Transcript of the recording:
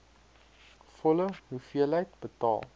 volle hoeveelheid betaal